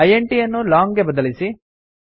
int ಯನ್ನು long ಗೆ ಬದಲಿಸಿ